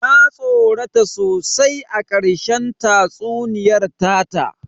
Na tsorata sosai a ƙarshen tatsuniyar ta ta